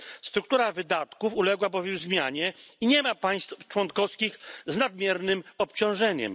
Struktura wydatków uległa bowiem zmianie i nie ma państw członkowskich z nadmiernym obciążeniem.